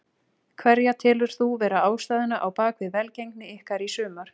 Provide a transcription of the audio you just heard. Hverja telur þú vera ástæðuna á bakvið velgengni ykkar í sumar?